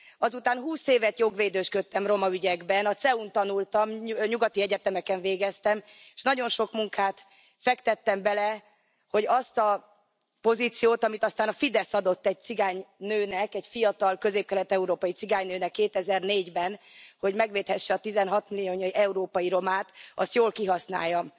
Azután húsz évet jogvédősködtem roma ügyekben, a CEU n tanultam, nyugati egyetemeken végeztem, és nagyon sok munkát fektettem bele, hogy azt a pozíciót, amit aztán a Fidesz adott egy cigány nőnek, egy fiatal, közép kelet európai cigány nőnek 2004 ben, hogy megvédhesse a 16 millió európai romát, azt jól kihasználjam.